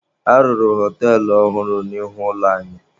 A rụrụ họtelụ ọhụrụ n'ihu ụlọ anyị.